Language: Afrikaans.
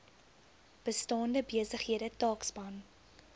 bestaande besighede taakspan